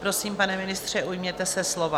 Prosím, pane ministře, ujměte se slova.